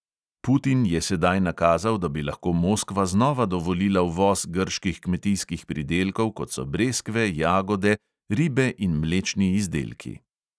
Putin je sedaj nakazal, da bi lahko moskva znova dovolila uvoz grških kmetijskih pridelkov, kot so breskve, jagode, ribe in mlečni izdelki.